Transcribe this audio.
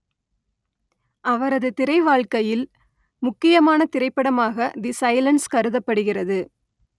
அவரது திரைவாழ்க்கையில் முக்கியமான திரைப்படமாக தி சைலன்ஸ் கருதப்படுகிறது